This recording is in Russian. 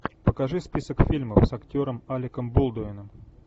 покажи список фильмов с актером алеком болдуином